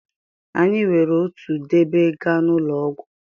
Anyị were otu dobe gaa n'ụlọ ọgwụ.